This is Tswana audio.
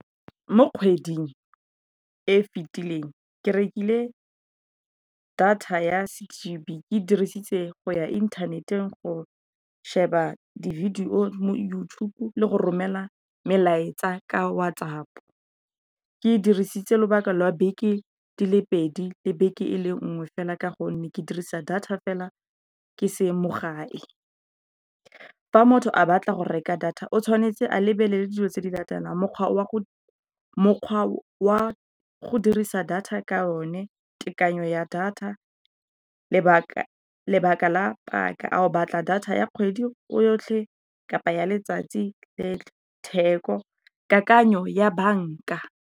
Mo kgweding e fitileng ke rekile data ya six GB, ke dirisitse go ya inthaneteng, go sheba di video mo YouTube, le go romela melaetsa ka WhatsApp. Ke dirisitse lobaka lwa beke di le pedi le beke e le nngwe fela ka gonne ke dirisa data fela ke se mo gae. Fa motho a batla go reka data o tshwanetse a lebelele dilo tse di latelang, mokgwa wa go dirisa data ka o ne, tekanyo ya data, lebaka la paka, ao batla data ya kgwedi yotlhe kapa ya letsatsi, le theko kakanyo ya banka.